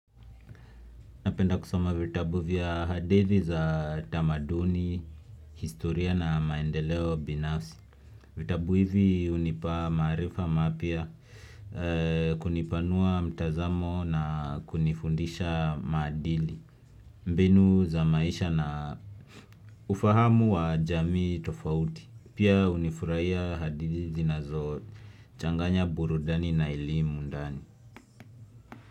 Napenda kusoma vitabu vya hadithi za tamaduni, historia na maendeleo binafsi. Vitabu hivi hunipa maarifa mapya kunipanua mtazamo na kunifundisha maadili. Mbinu za maisha na ufahamu wa jamii tofauti. Pia hunifurahia hadithi zinazochanganya burudani na elimu ndani.